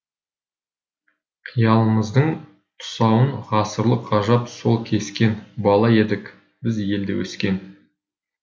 қиялымыздың тұсауын ғасырлық ғажап сол кескен бала едік біз елде өскен